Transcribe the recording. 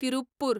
Tiruppur